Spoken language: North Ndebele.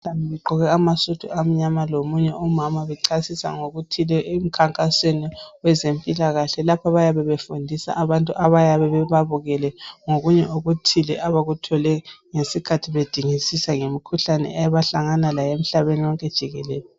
Begqoke amasudu amnyama lomunye umama bechasisa ngokuthile emkhankasweni wezempilakahle. Lapha bayabe befundisa abantu abayabe bebabukele ngokunye okuthile abakuthole ngesikhathi bedingisisa ngemikhuhlane abahlangana layo emhlabeni wonke jikelele.